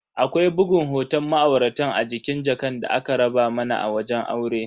Akwai bugun hoton ma'auratan a jikin jakan da aka raba mana a wajen aure.